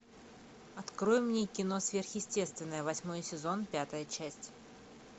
открой мне кино сверхъестественное восьмой сезон пятая часть